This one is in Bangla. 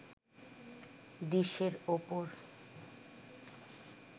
ডিশের ওপর